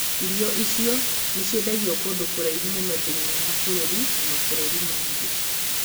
Irio icio nĩ ciendagio kũndũ kũraihu mũno thĩinĩ wa bũrũri na mabũrũri mangĩ